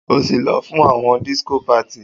O si lọ fun won disco party